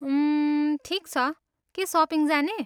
उम्, ठिक छ, के सपिङ जाने?